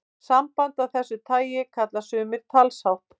Samband af þessu tagi kalla sumir talshátt.